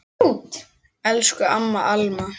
Elsku amma Alma.